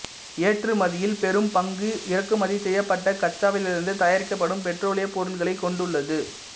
ஏற்றுமதியில் பெரும் பங்கு இறக்குமதி செய்யப்பட்ட கச்சாவிலிருந்து தயாரிக்கப்படும் பெட்ரோலிய பொருட்களைக் கொண்டுள்ளது